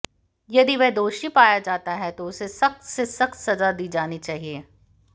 यदि वह दोषी पाया जाता है तो उसे सख्त से सख्त सजा दी जानी चाहिये